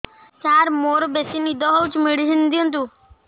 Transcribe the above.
ସାର ମୋରୋ ବେସି ନିଦ ହଉଚି ମେଡିସିନ ଦିଅନ୍ତୁ